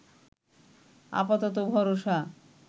আপাতত ভরসা